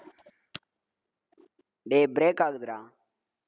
டேய், break ஆகுதுடா